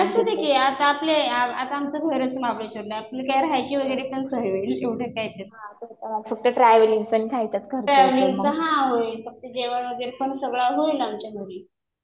असू दे कि. आता आपलं, आता आमचं घरच महाबळेश्ववरला. आपली काय राहायची वगैरे पण सोय होईल. एवढं काय त्याच्यात. फक्त ट्रॅव्हलिंगच हा होईल. फक्त जेवण वगैरे पण सगळं होईल आमच्या घरी.